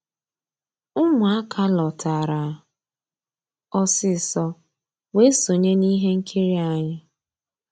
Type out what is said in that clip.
Ụmụ́àká lọ́tárá ọsísọ weé sonyéé n'íhé nkírí ànyị́.